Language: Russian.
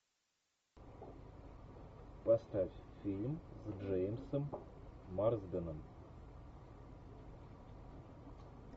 поставь фильм с джеймсом марсденом